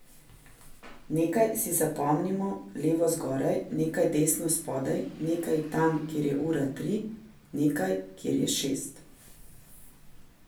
Nekaj si zapomnimo levo zgoraj, nekaj desno spodaj, nekaj tam, kjer je ura tri, nekaj, kjer je šest.